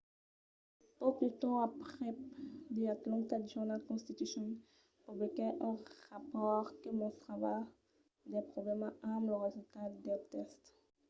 pauc de temps aprèp the atlanta journal-constitution publiquèt un rapòrt que mostrava de problèmas amb los resultats del test